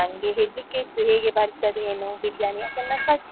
ನಂಗೆ ಹೆದ್ರಿಕೆ ಇತ್ತು ಹೇಗೆ ಬರ್ತದೇ ಏನೋ biryani first .